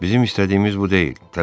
Bizim istədiyimiz bu deyil!